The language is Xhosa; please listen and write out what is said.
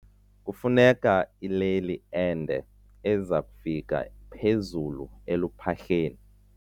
Kufuneka ileli ende eza kufika phezulu eluphahleni.